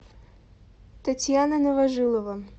татьяна новожилова